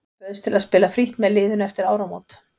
Ég bauðst til að spila frítt með liðinu eftir áramót.